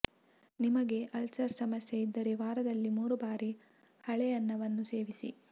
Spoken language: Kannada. ನಿಮಗೆ ಅಲ್ಸರ್ ಸಮಸ್ಯೆ ಇದ್ದರೆ ವಾರದಲ್ಲಿ ಮೂರು ಬಾರಿ ಹಳೆ ಅನ್ನವನ್ನು ಸೇವಿಸಿ